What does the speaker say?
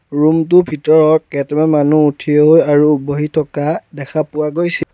Room টো ভিতৰত কেইটামান মানুহ থিয় হৈ আৰু বহি থকা দেখা পোৱা গৈছে।